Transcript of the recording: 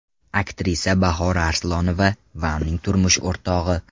Aktrisa Bahora Arslonova va uning turmush o‘rtog‘i.